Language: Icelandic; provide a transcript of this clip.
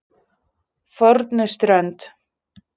Fornuströnd